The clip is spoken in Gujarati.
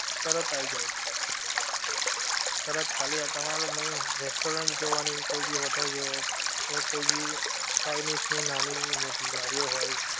તરત આઈ જાએ તરત ખાલી આ તમારે main restaurant જોવાની કોઈ ભી hotel જો એવું કોઈ ભી chinese ની નાની ની મોટી લારીઓ હોએ